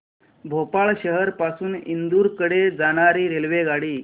भोपाळ शहर पासून इंदूर कडे जाणारी रेल्वेगाडी